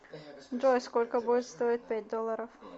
джой сколько будет стоить пять долларов